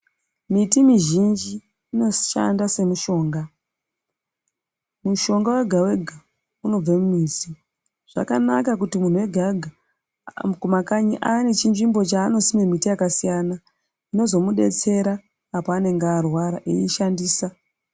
Miti mizhinji inoshanda semishonga mishonga wega wega unobva mumiti zvakanaka kuti munthu wega wega kumakanyi ave nechinzvimbo chaanosima mimbiti yakasiyana inozomudetsera apo anenge arwara eiishandisa.